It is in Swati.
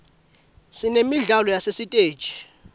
sinemidlalo yasesiteji